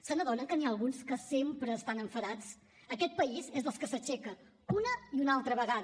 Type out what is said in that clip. se n’adonen que n’hi ha alguns que sempre estan enfadats aquest país és dels que s’aixeca una i una altra vegada